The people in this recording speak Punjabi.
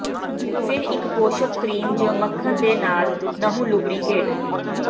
ਫਿਰ ਇੱਕ ਪੋਸ਼ਕ ਕ੍ਰੀਮ ਜ ਮੱਖਣ ਦੇ ਨਾਲ ਨਹੁੰ ਲੁਬਰੀਕੇਟ